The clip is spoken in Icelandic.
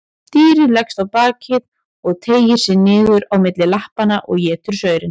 Dýrið leggst á bakið og teygir sig niður á milli lappanna og étur saurinn.